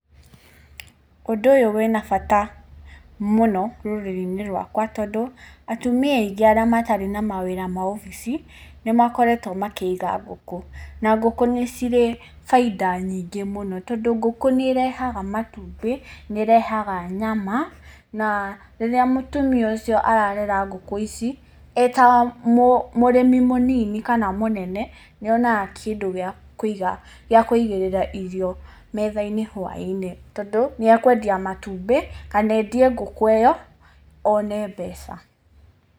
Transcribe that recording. Ũndũ ũyũ wĩna bata mũno rũrĩrĩ-inĩ rwakwa tondũ atumia aingĩ arĩa matarĩ na mawĩra ma obici, nĩmakoretwo makĩiga ngũkũ. Na, ngũkũ nĩcirĩ bainda nyingĩ mũno, tondũ ngũkũ nĩĩrehaga matumbĩ, nĩĩrehaga nyama na rĩrĩa mũtumia ũcio ararera ngũkũ ici, e ta mũrĩmi mũnini kana mũnene nĩonaga kĩndũ gĩa kũiga gĩa kũigĩrĩra irio metha-inĩ whaĩ-inĩ, tondũ nĩekwendia matumbĩ kana endie ngũkũ ĩyo one mbeca.